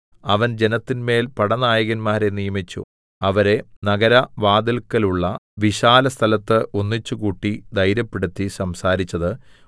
അവൻ ജനത്തിന്മേൽ പടനായകന്മാരെ നിയമിച്ചു അവരെ നഗരവാതില്‍ക്കലുള്ള വിശാലസ്ഥലത്ത് ഒന്നിച്ചുകൂട്ടി ധൈര്യപ്പെടുത്തി സംസാരിച്ചത്